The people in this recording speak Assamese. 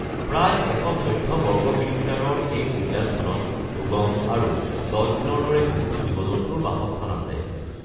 প্ৰায় ১১৪ বৰ্গ কিলোমিটাৰৰ এই উদ্যানখনত ডুগং আৰু ডলফিনৰ দৰে বহুতো জীৱ-জন্তুৰ বাসস্থান আছে।